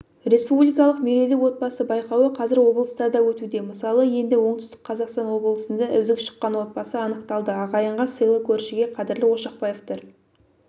республикалық мерейлі отбасы байқауы қазір облыстарда өтуде мысалы енді оңтүстік қазақстан облысында үздік шыққан отбасы анықталды ағайынға сыйлы көршіге қадірлі ошақбаевтар